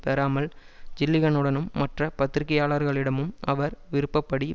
பெறாமல் ஜில்லிகனுடனும் மற்ற பத்திரிகையாளர்களிடமும் அவர் விருப்ப படி